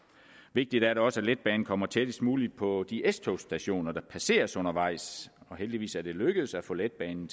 vigtigt er det også at letbanen kommer tættest muligt på de s togsstationer der passeres undervejs og heldigvis er det lykkedes at få letbanen